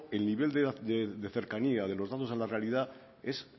el nivel de cercanía de los datos a la realidad es